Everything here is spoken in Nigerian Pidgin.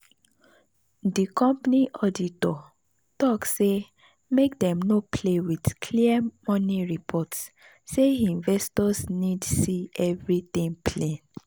the company auditor talk say make dem no play with clear money report say investors need see everything plain.